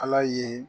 Ala ye